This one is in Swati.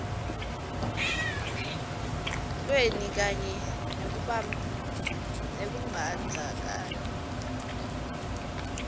lweni kanye nekumbandzakanya